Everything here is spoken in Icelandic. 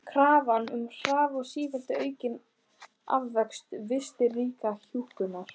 Krafan um hraða og sífellt aukin afköst virtist rýra hjúkrunina.